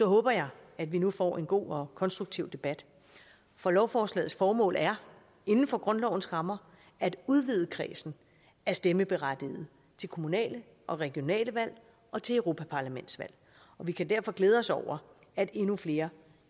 håber jeg at vi nu får en god og konstruktiv debat for lovforslagets formål er inden for grundlovens rammer at udvide kredsen af stemmeberettigede til kommunale og regionale valg og til europaparlamentsvalg og vi kan derfor glæde os over at endnu flere